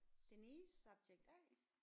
Denise subject A